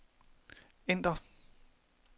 ændr